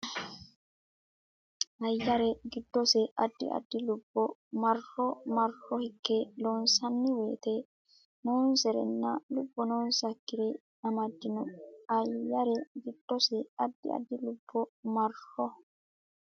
Ayyare giddose addi addi lubbo marro marro hinge loonsanni woyite noonsarenna lubbo noonsakkire amaddino Ayyare giddose addi addi lubbo marro.